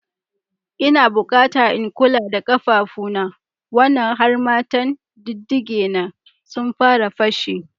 Ina bukata in kula da ƙafafuna wannan harmattan, diddigena sun fara fashe.